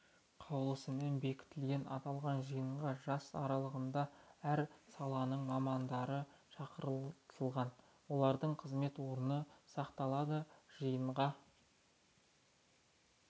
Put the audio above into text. қаулысымен бекітілген аталған жиынға жас аралығындағы әр саланың мамандары шақыртылған олардың қызмет орны сақталады жиынға